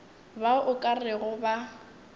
bao o ka rego ba